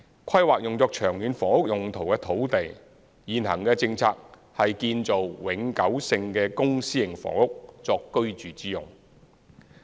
規劃用作長遠房屋用途的土地，現行的政策是建造永久性的公私營房屋作居住之用。